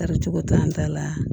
Tari cogo t'an ta la